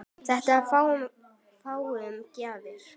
Þetta er fáum gefið.